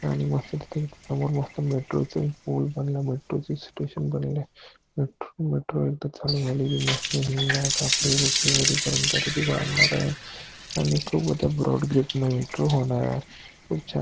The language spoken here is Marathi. आणि मस्त तिथून समोर मस्त मेट्रो चं पूल बनलं चं स्टेशन बनलाय मेट्रो मेट्रो एकदा का चालू झाली मस्त पर्यंत ती वाढणर आहे ती खूप मेट्रो होणार आहे खूप छान --